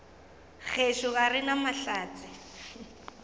gešo ga re na mahlatse